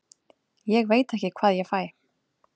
Ég veit ekki hvað ég fæ.